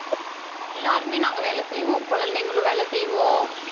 எல்லாருமே நாங்க வேலை செய்வோம். குழந்தைங்களும் வேலை செய்வோம்.